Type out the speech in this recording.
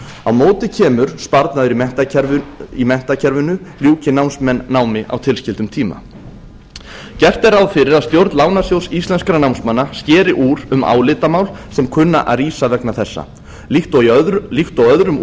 á móti kemur sparnaður í menntakerfinu ljúki námsmenn námi á tilskildum tíma gert er ráð fyrir að stjórn lánasjóðs íslenskra námsmanna skeri úr um álitamál sem kunna að rísa vegna þessa líkt og öðrum